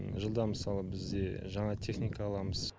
жылда мысалы біз де жаңа техника аламыз